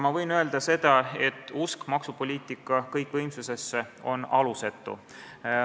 Ma võin öelda, et usk maksupoliitika kõikvõimsusesse on alusetu.